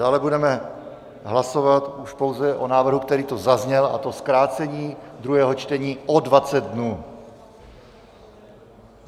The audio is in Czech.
Dále budeme hlasovat už pouze o návrhu, který tu zazněl, a to zkrácení druhého čtení o 20 dnů.